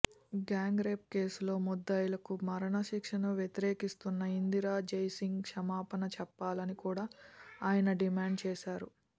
gang rape కేసులో ముద్దాయిలకు మరణ శిక్షను వ్యతిరేకిస్తున్న ఇందిరా జైసింగ్ క్షమాపణ చెప్పాలని కూడా ఆయన డిమాండ్ చేశారు